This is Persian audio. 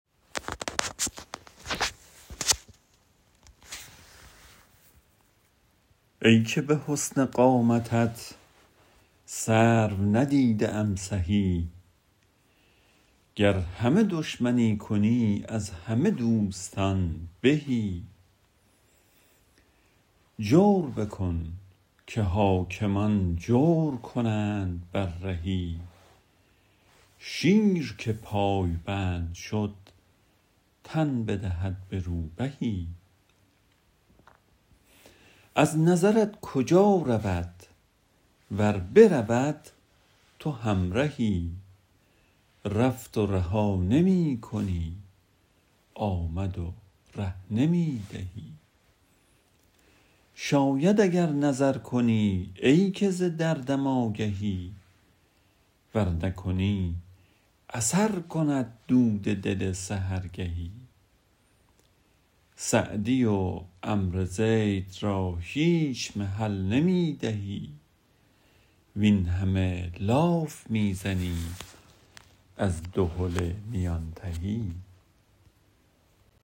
ای که به حسن قامتت سرو ندیده ام سهی گر همه دشمنی کنی از همه دوستان بهی جور بکن که حاکمان جور کنند بر رهی شیر که پایبند شد تن بدهد به روبهی از نظرت کجا رود ور برود تو همرهی رفت و رها نمی کنی آمد و ره نمی دهی شاید اگر نظر کنی ای که ز دردم آگهی ور نکنی اثر کند دود دل سحرگهی سعدی و عمرو زید را هیچ محل نمی نهی وین همه لاف می زنیم از دهل میان تهی